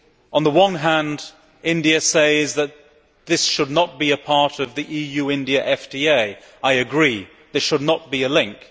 On the one hand, India says that this should not be a part of the EU India FTA. I agree. There should not be a link.